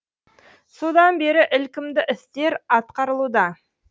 содан бері ілкімді істер атқарылуда